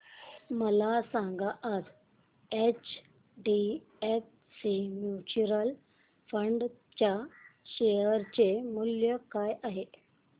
मला सांगा आज एचडीएफसी म्यूचुअल फंड च्या शेअर चे मूल्य काय आहे